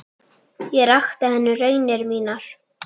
Ég rakti henni raunir mínar.